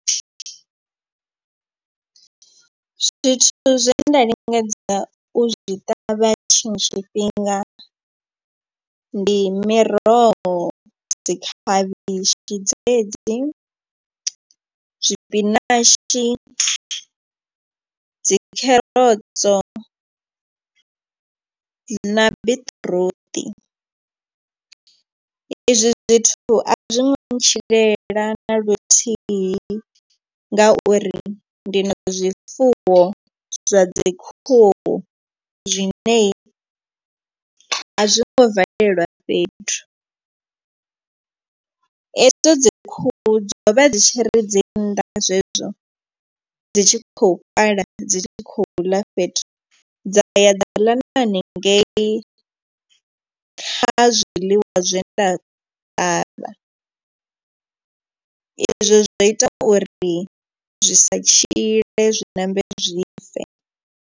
Zwithu zwe nda lingedza u zwi ṱavha tshiṅwe tshifhinga ndi miroho dzi khavhishi, dzedzi zwipinashi, dzi kherotso na biṱiruṱi. I zwi zwithu a zwi ngo ntshilela na luthihi ngauri ndi na zwifuwo zwa dzi khuhu zwine a zwi ngo valelwa fhethu. Hedzo dzi khuhu dzo vha dzi tshiri dzi nnḓa zwezwo dzi tshi khou pala dzi tshi khou ḽa fhethu dza ya dzaḽa na haningei kha zwiḽiwa zwe nda ṱavha, izwo zwo ita uri zwi sa tshile zwi ṋambe zwife.